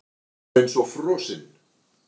Hann var eins og frosinn.